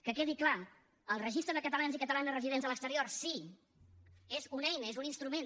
que quedi clar el registre de catalans i catalanes residents a l’exterior sí és una eina és un instrument